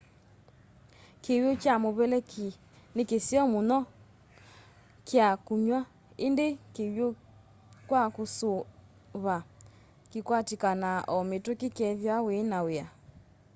kiw'ũ kyamuveleki ni kiseo muno kya kunywa indi kiwũ kwa suva kikwatikanaa o mituki kethiwa wina w'ia